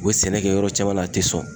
U be sɛnɛ kɛ yɔrɔ caman na, a te sɔn.